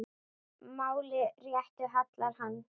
máli réttu hallar hann